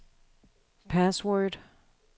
password